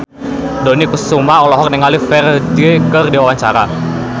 Dony Kesuma olohok ningali Ferdge keur diwawancara